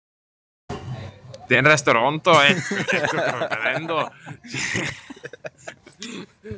Við vorum báðir um árabil í lúðrasveitinni á Eskifirði.